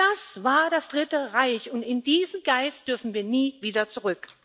Das war das Dritte Reich, und in diesen Geist dürfen wir nie wieder zurück.